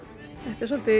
svolítið